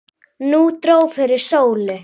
Nú dró fyrir sólu.